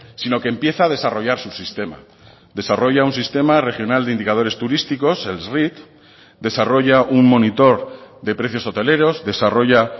sino que empieza a desarrollar su sistema desarrolla un sistema regional de indicadores turísticos el desarrolla un monitor de precios hoteleros desarrolla